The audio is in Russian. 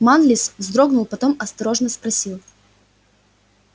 манлис вздрогнул потом осторожно спросил